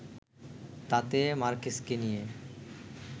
তাতে মার্কেসকে নিয়ে